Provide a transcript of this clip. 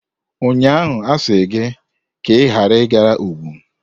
Ụnyaahụ asị gị ka ịghara ịga Ogun!